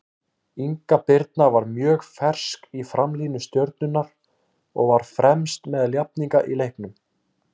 Inga Birna var mjög fersk í framlínu Stjörnunnar og var fremst meðal jafningja í leiknum.